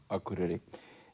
Akureyri